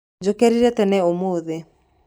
Njũkĩrire tene ũmũthĩ.